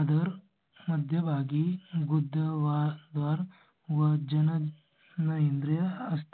आधार मध्यभागी गुदद्वार वजन नरेंद्र असतात.